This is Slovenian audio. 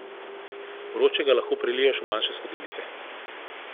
Vročega lahko preliješ v manjše skodelice.